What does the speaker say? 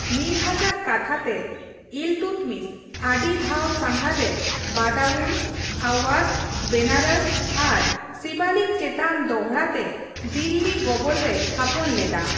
ᱢᱤᱱᱦᱟᱡᱼᱟᱜ ᱠᱟᱛᱷᱟ ᱛᱮ, ᱤᱞᱛᱩᱛᱢᱤᱥ ᱟᱹᱰᱤ ᱫᱷᱟᱣ ᱥᱟᱸᱜᱷᱟᱨ ᱨᱮ ᱵᱟᱫᱟᱣᱩᱱ, ᱟᱣᱭᱟᱫᱷ, ᱵᱮᱱᱟᱨᱚᱥ ᱟᱨ ᱥᱤᱵᱟᱞᱤᱠ ᱪᱮᱛᱟᱱ ᱫᱚᱲᱦᱟ ᱛᱮ ᱫᱤᱞᱞᱤ ᱜᱚᱵᱚᱞ ᱨᱮᱭ ᱛᱷᱟᱯᱚᱱ ᱞᱮᱫᱟ ᱾